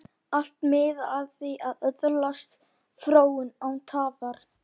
Allt miðar að því að öðlast fróun, án tafar.